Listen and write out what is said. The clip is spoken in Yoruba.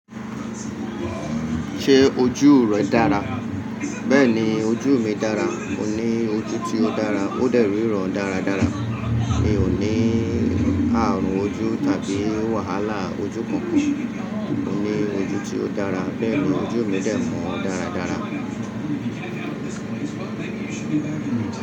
Ṣé ojú rẹ dára? Bẹ́ẹ̀ni, ojú mi dára. Mo ní ojú tí ó dára, ó dè ríran dáradára. Mi ò ní ààrùn ojú tàbí wàhálà ojú kankan. Mo ní ojú tí ó dára, bẹ́ẹ̀ni ojú mi dé mọ́ dáradára.